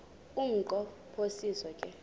umnqo phiso ke